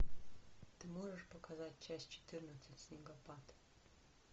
ты можешь показать часть четырнадцать снегопад